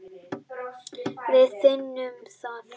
Við finnum það.